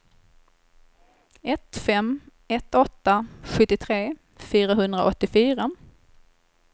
ett fem ett åtta sjuttiotre fyrahundraåttiofyra